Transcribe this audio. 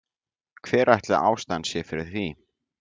Hver ætli ástæðan sé fyrir því?